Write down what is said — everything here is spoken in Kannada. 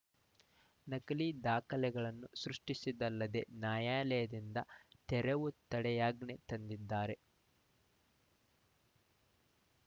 ನಕಲಿ ದಾಖಲೆಗಳನ್ನು ಸೃಷ್ಟಿಸಿದ್ದಲ್ಲದೆ ನ್ಯಾಯಾಲಯದಿಂದ ತೆರವು ತಡೆಯಾಜ್ಞೆ ತಂದಿದ್ದಾರೆ